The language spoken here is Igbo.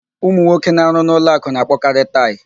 Ụmụnwoke na-arụ n'ụlọakụ na-akpọkarị taị.